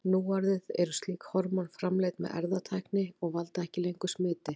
Núorðið eru slík hormón framleidd með erfðatækni og valda ekki lengur smiti.